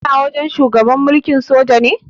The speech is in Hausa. Kana wajen shugaban mulkin soja ne?